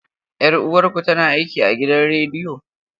Yar uwarku tana aiki a gidan rediyo?